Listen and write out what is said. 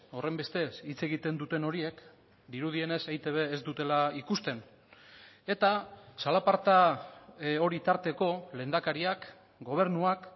horrenbestez hitz egiten duten horiek dirudienez eitb ez dutela ikusten eta zalaparta hori tarteko lehendakariak gobernuak